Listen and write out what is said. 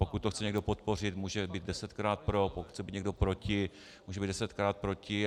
Pokud to chce někdo podpořit, může být desetkrát pro, pokud chce být někdo proti, může být desetkrát proti.